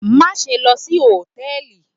Maṣe lọ si hòtẹ́ẹ̀lì